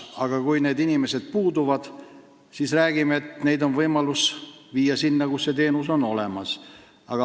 Kui need inimesed puuduvad, siis räägime, et kliente on võimalik viia sinna, kus on see teenus olemas.